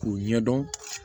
K'u ɲɛdɔn